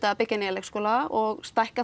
að byggja nýja leikskóla og stækka